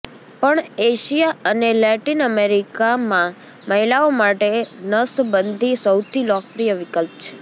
પણ એશિયા અને લૅટિન અમેરિકામાં મહિલાઓ માટે નસબંધી સૌથી લોકપ્રિય વિકલ્પ છે